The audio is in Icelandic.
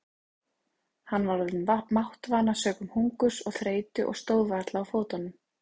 Hann var orðinn máttvana sökum hungurs og þreytu og stóð varla á fótunum.